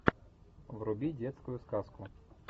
вруби детскую сказку